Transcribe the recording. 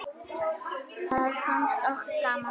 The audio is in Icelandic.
Það fannst okkur gaman.